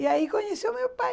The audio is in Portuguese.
E aí conheceu meu pai.